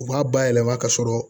U b'a bayɛlɛma ka sɔrɔ